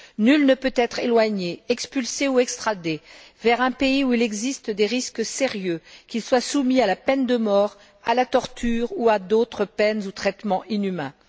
Nul ne peut être éloigné, expulsé ou extradé vers un pays où il existe des risques sérieux qu'il soit soumis à la peine de mort, à la torture ou à d'autres peines ou traitements inhumains.